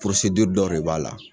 dɔ b'a la.